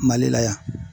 Mali la yan